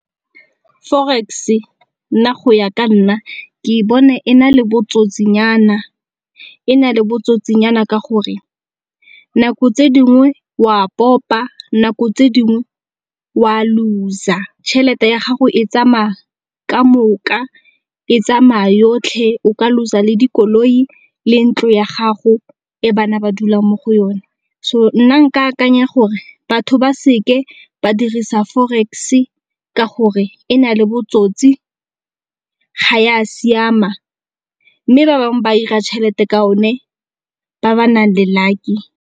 Forex-e nna go ya ka nna ke bona e na le botsotsi nyana ka gore nako tse dingwe wa popa nako tse dingwe wa loss-a tšhelete ya gago e tsamaya kamoka, e tsamaya yotlhe o ka loss-a le dikoloi le ntlo ya gago e bana ba dulang mo go yone. So nna nka akanya gore batho ba se ke ba dirisa forex-e ka gore e na le botsotsi ga ya siama, mme ba bangwe ba ira tšhelete ka yone ba ba nang le lucky.